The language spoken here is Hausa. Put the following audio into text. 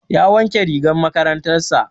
Ya wanke rigar makarantar sa